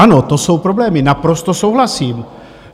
Ano, to jsou problémy, naprosto souhlasím.